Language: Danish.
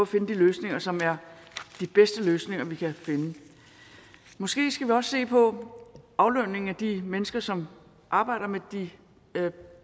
finde de løsninger som er de bedste løsninger vi kan finde måske skal vi også se på aflønningen af de mennesker som arbejder med de